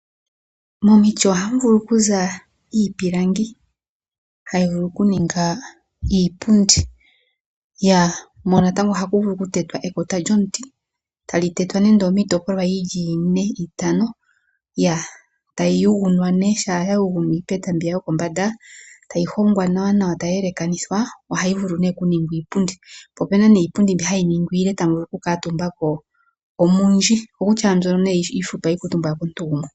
Momiti ohamu vulu okuza iipilangi hayi vulu okuninga iipundi. Mono natango ohaku vulu okutetwa ekota lyomuti tali tetwa nando omiitopolwa yi li ine itano, tayi yugunwa, shaa ya yugunwa iipeta mbi ya yokombanda tayi hongwa naanaa tayi yelekanithwa ohayi vulu okuningwa iipundi. Opu n aiipundi mbi hayi ningwa iile mbi tamu vulu okukuutumba ko omundji. Okokutya ashike mbyono iifupi ohaku kuutumbwa komuntu gumwe.